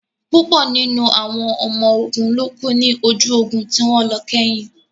Púpọ̀ nínú àwọn ọmọ ogun ló kú ní ojú ogun tí wọ́n lọ kẹ́yìn